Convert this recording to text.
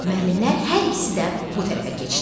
Müəllimlər hər ikisi də bu tərəfə keçdi.